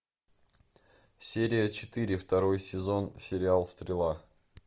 серия четыре второй сезон сериал стрела